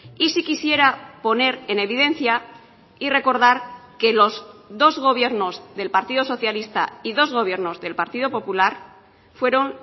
y sí quisiera poner en evidencia y recordar que los dos gobiernos del partido socialista y dos gobiernos del partido popular fueron